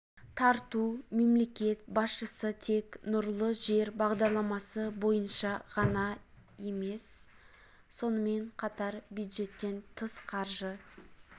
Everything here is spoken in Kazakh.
тарту мемлекет басшысы тек нұрлы жер бағдарламасы бойынша ғана емес сонымен қатар бюджеттен тыс қаржы